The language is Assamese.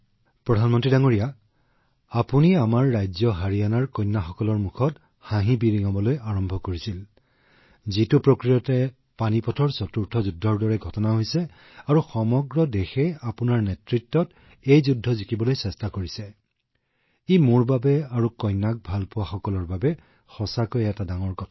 প্ৰধানমন্ত্ৰী মহোদয় দৰাচলতে আপুনি আমাৰ ৰাজ্য হাৰিয়ানাৰ কন্যাসকলৰ মুখলৈ হাঁহি আনিবলৈ আৰম্ভ কৰা পানীপথৰ চতুৰ্থখন যুদ্ধ যাক সমগ্ৰ দেশে আপোনাৰ নেতৃত্বত জিকিবলৈ চেষ্টা কৰিছে মোৰ বাবে প্ৰতিজনী কন্যাৰ দেউতাক আৰু কন্যাক ভাল পোৱা সকলৰ বাবে সঁচাকৈয়ে গুৰুত্বপূৰ্ণ